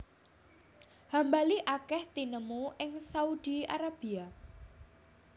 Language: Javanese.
Hambali akèh tinemu ing Saudi Arabia